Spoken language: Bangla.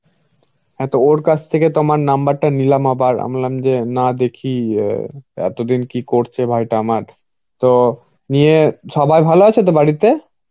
হ্যা তো ওর কাছ থেকে তোমার number টা নিলাম আবার আমি বললাম যে না দেখি অ্যাঁ এতদিন কি করছে ভাইটা আমার. তো নিয়ে সবাই ভালো আছো তো বাড়িতে?